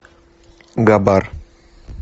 габар